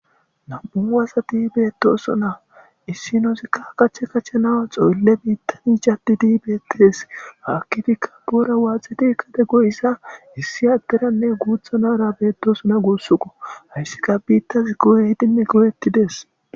Nam'u wasati beettosona issinosikka kache kachanawa xoolle biittani jaddidi beettes haakkifikka buura waaxeti kade goyissa issi adderanne guuthanara beettoosona guussuqo hayssika biittas go'e hidinne go'ettides.